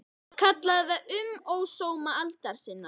Ég kalla það: Um ósóma aldar sinnar